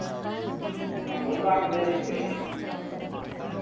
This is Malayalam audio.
നമ്മളത്തും അങ്ങനെത്തന്നെ ഇരിക്കൽ